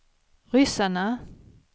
ryssarna